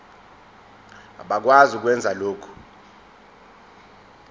abakwazi ukwenza lokhu